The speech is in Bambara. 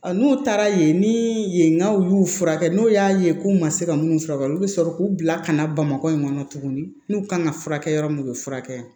N'u taara yen ni yennɔ y'u furakɛ n'u y'a ye k'u ma se ka minnu furakɛ olu bɛ sɔrɔ k'u bila ka na bamakɔ in kɔnɔ tuguni n'u ka kan ka furakɛ yɔrɔ min u bɛ furakɛ